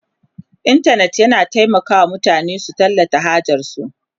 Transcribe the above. intanet yana taimaka wa mutane su tallata hajarsu